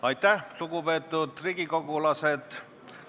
Aitäh, lugupeetud riigikogulased!